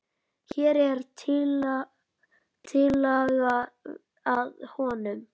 Hér er tillaga að honum.